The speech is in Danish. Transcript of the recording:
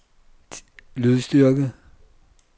lydstyrke